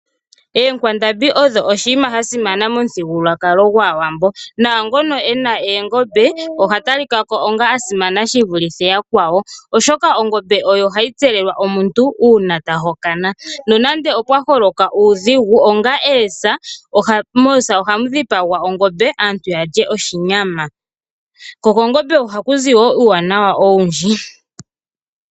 Oonkwandambi odho oshinima sha simana momuthigululwakalo gwaawambo naangono ena oongombe oha talikako onga asimana shi vuluthe yakwawo oshoka ongombe oyo hayi tselelwa omuntu uuna tahokana . Nonande opwaholoka uudhigu onga oosa ,moosa ohamu dhipagwa ongombe aantu yalye oshinyama . Ko kongombe ohakuzi woo uuwanawa owundji